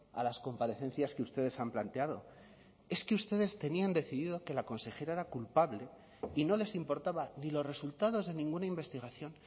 a las comparecencias que ustedes han planteado es que ustedes tenían decidido que la consejera era culpable y no les importaba ni los resultados de ninguna investigación